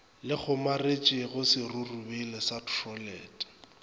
le kgomaretšego serurubele sa throtlele